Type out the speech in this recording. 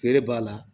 Gɛri b'a la